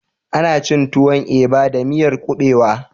Ana cin tuwon eba da miyar ƙuɓewa